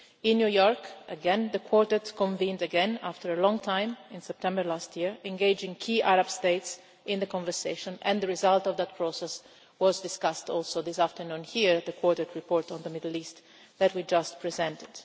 In New York again, the Quartet reconvened after a long time, in September last year, engaging key Arab states in the conversation, and the result of that process was also discussed here this afternoon, the Quartet report on the Middle East that we just presented.